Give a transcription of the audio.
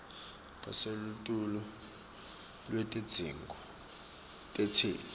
lelisetulu lwetidzingo tetheksthi